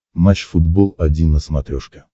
матч футбол один на смотрешке